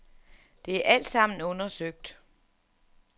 Det er alt sammen undersøgt.